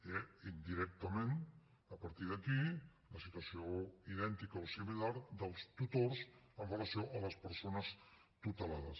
i indirectament a partir d’aquí la situació idèntica o similar dels tutors amb relació a les persones tutelades